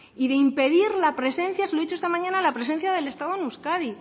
y de impedir la presencia se lo he dicho esta mañana del estado en euskadi